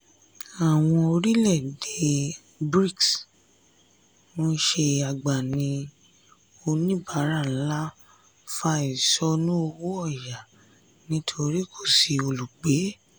àwọn orílẹ̀ èdè bric ń ṣe agbamin onibara ńlá fà ìsonù owó ọ̀yà nítorí kò sí olùgbé.